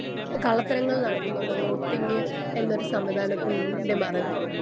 Speaker 1 കള്ളത്തരങ്ങൾ നടക്കുന്നുണ്ട് voting എന്നൊരു സംവിധാനത്തിൻ്റെ മറവിൽ.